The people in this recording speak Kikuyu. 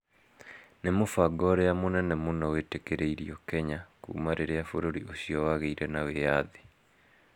Nĩ mũbango ũrĩa mũnene mũno wĩtĩkĩririo Kenya kuuma rĩrĩa bũrũri ũcio wagĩire na wĩyathi.